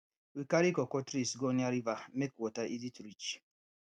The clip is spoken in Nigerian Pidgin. we carry cocoa trees go near river make water easy to reach